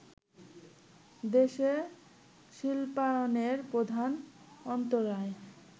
দেশে শিল্পায়নের প্রধান অন্তরায়